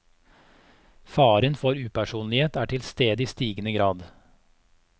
Faren for upersonlighet er til stede i stigende grad.